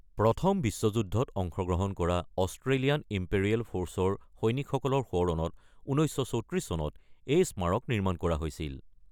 প্ৰথম বিশ্ব যুদ্ধত অংশগ্ৰহণ কৰা অষ্ট্ৰেলিয়ান ইম্পেৰিয়েল ফাৰ্চৰ সৈনিকসকলৰ সোঁৱৰণত ১৯৩৪ চনত এই স্মাৰক নিৰ্মাণ কৰা হৈছিল।